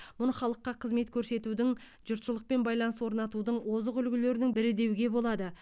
мұны халыққа қызмет көрсетудің жұртшылықпен байланыс орнатудың озық үлгілерінің бірі деуге болады